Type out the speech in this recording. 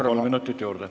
Palun, kolm minutit juurde!